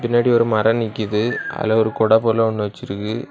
முன்னாடி ஒரு மரம் நிக்குது அதுல ஒரு குடை போல ஒன்னு வெச்சி இருக்கு.